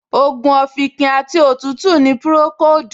Ògùn òfìnkìn àti òtútù ni Pùròkóòdù